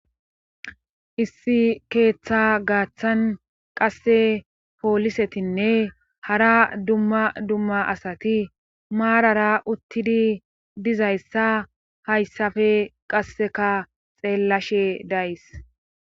Issi keeththa gaaththan qasse poolisetinne hara dumma dumma asati maarara uttidi dizayssa hayssafe qasseka xeellashe days.